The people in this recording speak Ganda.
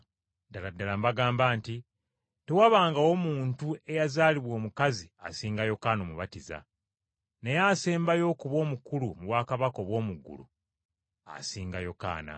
Ddala ddala mbagamba nti tewabangawo muntu eyazaalibwa omukazi asinga Yokaana Omubatiza. Naye asembayo okuba omukulu mu bwakabaka obw’omu ggulu asinga Yokaana.